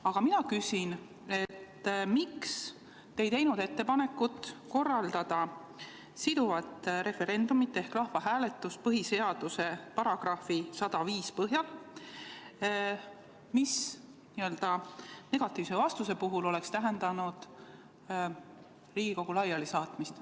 Aga mina küsin, miks te ei teinud ettepanekut korraldada siduvat referendumit ehk rahvahääletust põhiseaduse § 105 põhjal, mis negatiivse vastuse puhul oleks tähendanud Riigikogu laialisaatmist.